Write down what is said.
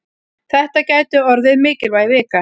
Þetta gæti orðið mikilvæg vika.